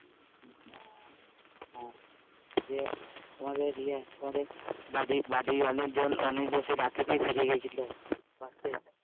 যে তোমাদের ইয়ে তোমাদের বাড়ির অনেক জীন রাট থেকেই ওখানে ছিল